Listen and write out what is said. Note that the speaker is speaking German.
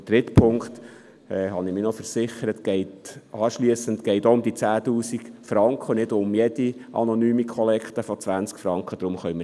Beim dritten Punkt – hier habe ich mich noch versichert – geht es um diese 10 000 Franken und nicht um jede anonyme Kollekte von 20 Franken.